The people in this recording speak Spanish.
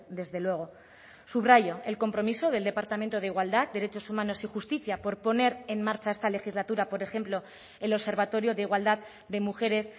desde luego subrayo el compromiso del departamento de igualdad derechos humanos y justicia por poner en marcha esta legislatura por ejemplo el observatorio de igualdad de mujeres